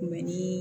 Mɛ ni